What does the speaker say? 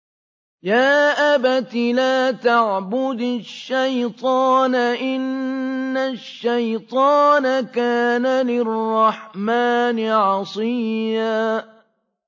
يَا أَبَتِ لَا تَعْبُدِ الشَّيْطَانَ ۖ إِنَّ الشَّيْطَانَ كَانَ لِلرَّحْمَٰنِ عَصِيًّا